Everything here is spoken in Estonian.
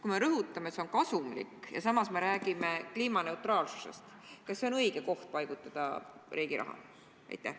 Kui me rõhutame, et see on kasumlik, ja samas räägime kliimaneutraalsusest, siis kas see on õige koht, kuhu paigutada riigi raha?